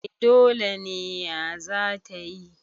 a dole ne ya za ta yi